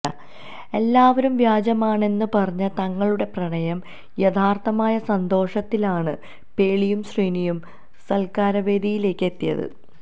എല്ലാവരും വ്യാജമാണെന്ന് പറഞ്ഞ തങ്ങളുടെ പ്രണയം യാഥാർഥമായ സന്തോഷത്തിലാണ് പേളിയും ശ്രീനിയും സത്കാരവേദിയിലേക്ക് എത്തിയത്